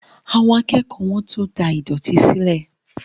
Àwọn akẹ́kọ̀ọ́ wọ́n tó da ìdọ̀tí sílẹ̀